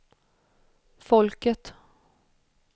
folket